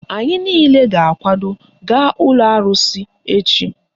Anyị niile ga-akwado gaa ụlọ arụsị echi